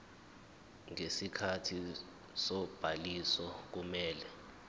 ngesikhathi sobhaliso kumele